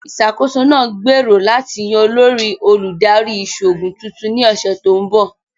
Ìṣàkóso náà ń gbèrò láti yan olórí Olùdarí Ìṣòògùn tuntun ni ọsẹ̀ tó ń bọ̀